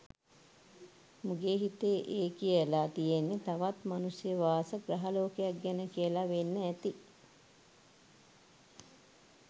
මුගේ හිතේ ඒ කියලා තියෙන්නේ තවත් මනුෂ්‍ය වාස ග්‍රහ ලෝකයක් ගැන කියල වෙන්න ඇති.